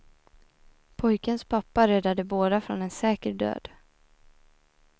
Pojkens pappa räddade båda från en säker död.